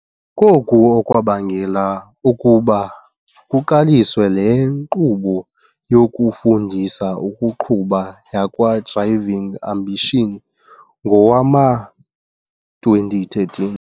Koku okwabangela ukuba kuqaliswe le nkqubo yokufundisa ukuqhuba yakwa-Driv ing Ambitions ngowama-2013.